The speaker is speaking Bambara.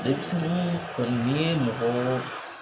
Demisɛnninw kɔni ni mɔgɔ